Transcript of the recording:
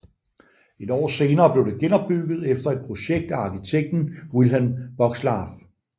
Et år senere blev det genopbygget efter et projekt af arkitekten Wilhelm Bockslaff